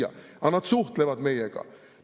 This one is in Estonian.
Aga need suhtlevad meiega.